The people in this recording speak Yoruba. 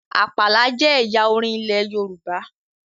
Àpàlà jẹ ẹyà orin ilẹ Yorùbá